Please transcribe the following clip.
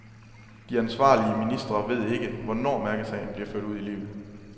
De ansvarlige ministre ved ikke, hvornår mærkesagen bliver ført ud i livet.